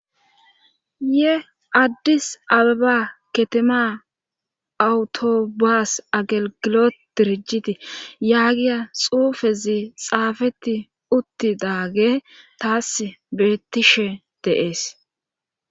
ye addis ababa ketema awutobaas agelgilot dirijiti yaagiya xuufezi xaafeti uttidage taas beettishe deees